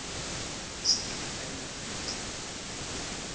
sive mayelana nendzima